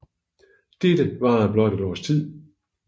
Dette varede blot et års tid